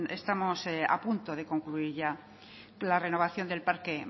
estamos a punto de concluir ya la renovación del parque